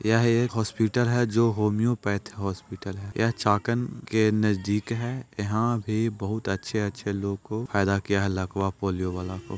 यह एक हॉस्पिटल है जो होम्योपैथी हॉस्पिटल है यह चाकन के नजदीक है यहाँ पे बहुत अच्छे-अच्छे लोगों को फायदा किया है लकवा पोलियो वाला को।